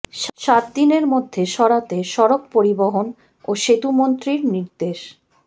সাত দিনের মধ্যে সরাতে সড়ক পরিবহন ও সেতুমন্ত্রীর নির্দেশ